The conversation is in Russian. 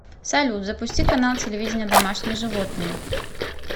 салют запусти канал телевидения домашние животные